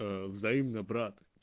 взаимно брат